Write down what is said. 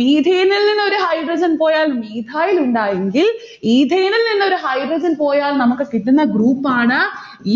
methane ഇൽനിന്നും ഒരു hydrogen പോയാൽ methyl ലുണ്ടായെങ്കിൽ ethane ഇൽ നിന്നും ഒരു hydrogen പോയാൽ നമ്മുക്കു കിട്ടുന്ന group ആണ്